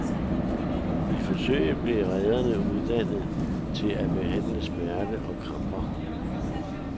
I forsøget blev redderne uddannet i at at behandle smerter og kramper.